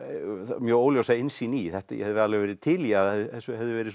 mjög óljósa innsýn í ég hefði alveg verið til í að þessu hefði verið